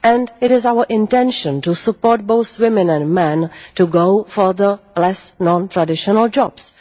It is our intention to support both women and men to go for the less and non traditional jobs.